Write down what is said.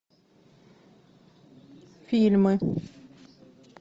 фильмы